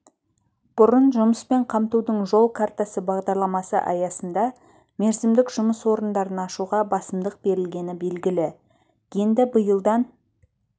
бұрын жұмыспен қамтудың жол картасы бағдарламасы аясында мерзімдік жұмыс орындарын ашуға басымдық берілгені белгілі енді биылдан